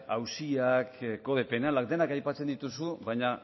auziak kode penala denak aipatzen dituzu baina